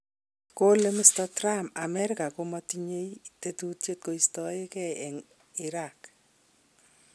Kole Mr.Trump America ko matinyei tetutiet koistogei eng Iraq.